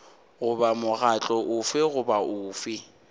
goba mokgatlo ofe goba ofe